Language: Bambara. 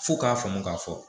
F'u k'a faamu k'a fɔ